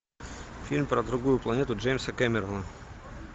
фильм про другую планету джеймса кэмерона